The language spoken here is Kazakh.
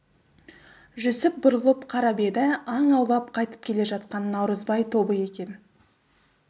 жүсіп бұрылып қарап еді аң аулап қайтып келе жатқан наурызбай тобы екен